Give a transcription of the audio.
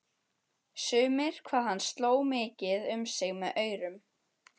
Sumir hvað hann sló mikið um sig með aurum.